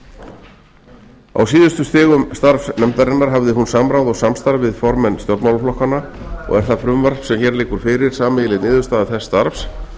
skoða á síðustu stigum starfs nefndarinnar hafði hún samráð og samstarf við formenn stjórnmálaflokkanna og er það frumvarp sem hér liggur fyrir sameiginleg niðurstaða þess starfs